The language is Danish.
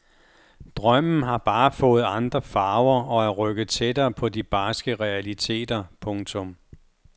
Drømmen har bare fået andre farver og er rykket tættere på de barske realiteter. punktum